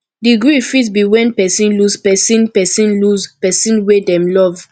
the grief fit be when person lose person person lose person wey dem love